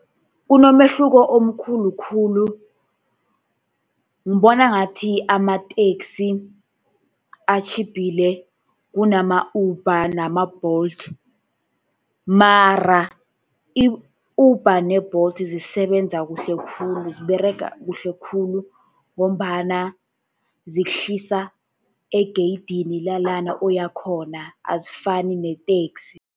Kunomehluko omkhulu khulu. Ngibona ngathi amateksi atjhiphile kunama-Uber nama-Bolt, mara i-Uber ne-Bolt zisebenza kuhle khulu, ziberega kuhle khulu ngombana zikuhlisa egeyidini lalana oyakhona, azifani neteksi.